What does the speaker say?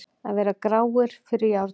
Að vera gráir fyrir járnum